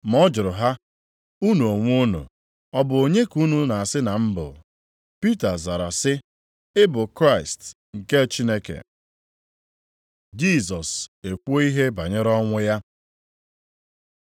Ma ọ jụrụ ha, “Unu onwe unu, ọ bụ onye ka unu na-asị na m bụ?” Pita zara sị, “Ị bụ Kraịst nke Chineke.” Jisọs ekwuo ihe banyere ọnwụ ya